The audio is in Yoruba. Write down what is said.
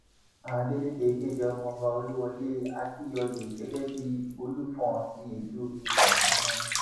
adélèkẹ kéde ọmọọba olúwọlé akínyòòyè gẹgẹ bíi olùfọn ti ìlú ìfọn tuntun